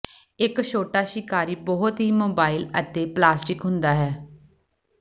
ਇੱਕ ਛੋਟਾ ਸ਼ਿਕਾਰੀ ਬਹੁਤ ਹੀ ਮੋਬਾਈਲ ਅਤੇ ਪਲਾਸਟਿਕ ਹੁੰਦਾ ਹੈ